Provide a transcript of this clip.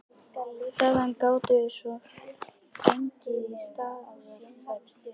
Þaðan gátum við svo gengið að Staðarfelli.